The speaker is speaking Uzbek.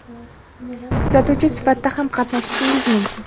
kuzatuvchi sifatida ham qatnashishingiz mumkin.